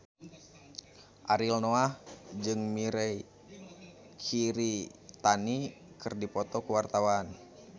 Ariel Noah jeung Mirei Kiritani keur dipoto ku wartawan